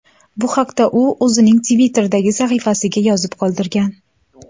Bu haqda u o‘zining Twitter’dagi sahifasiga yozib qoldirgan .